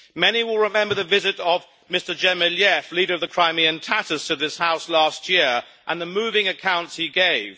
Many will remember the visit of Mr Dzhemiliev, leader of the Crimean Tatars, to this House last year and the moving accounts he gave.